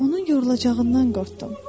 Onun yorulacağından qorxdum.